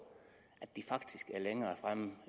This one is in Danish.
at de faktisk er meget længere fremme